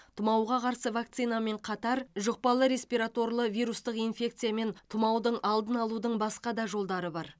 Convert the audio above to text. тұмауға қарсы вакцинамен қатар жұқпалы респираторлы вирустық инфекция мен тұмаудың алдын алудың басқа да жолдары бар